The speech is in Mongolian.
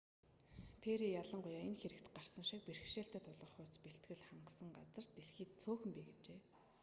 перри ялангуяа энэ хэрэгт гарсан шиг бэрхшээлтэй тулгарахуйц бэлтгэл хангасан газар дэлхийд цөөхөн бий гэжээ